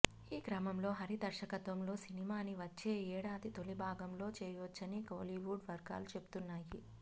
ఈ క్రమంలో హరి దర్శకత్వంలో సినిమాని వచ్చే ఏడాది తొలిభాగంలో చేయొచ్చని కోలీవుడ్ వర్గాలు చెబుతున్నాయి